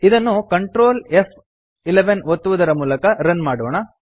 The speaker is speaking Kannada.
ಇದನ್ನು Ctrl ಫ್11 ಒತ್ತುವುದರ ಮೂಲಕ ರನ್ ಮಾಡೋಣ